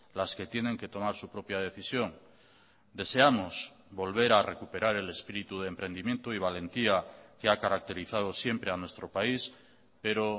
las que tienen que tomar su propia decisión deseamos volver a recuperar el espíritu de emprendimiento y valentía que ha caracterizado siempre a nuestro país pero